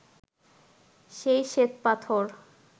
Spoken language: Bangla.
সেই শ্বেতপাথর